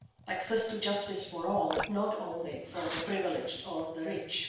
and access to justice for all, not only the privileged or the rich.